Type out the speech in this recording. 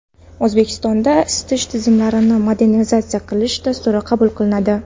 O‘zbekistonda isitish tizimlarini modernizatsiya qilish dasturi qabul qilinadi.